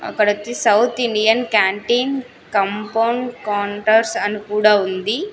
అక్కడొచ్చి south Indian canteen compound counters అని కూడా ఉంది.